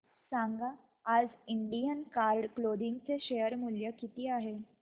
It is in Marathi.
सांगा आज इंडियन कार्ड क्लोदिंग चे शेअर मूल्य किती आहे